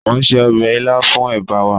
Mo n se ọbẹ ila fun eba wa